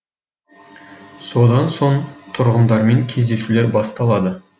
содан соң тұрғындармен кездесулер басталады